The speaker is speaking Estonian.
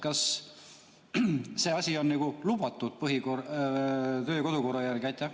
Kas see asi on lubatud kodu‑ ja töökorra järgi?